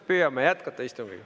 Püüame jätkata istungit.